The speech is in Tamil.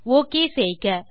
ஒக் செய்க